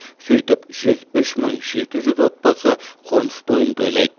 сөйтіп жүз үш мың жеті жүз отбасы қоныстойын тойлайды